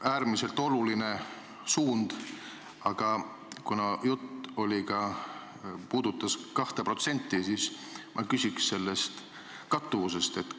Äärmiselt oluline suund, aga kuna jutt puudutas 2%, siis ma küsiks selle kattuvuse kohta.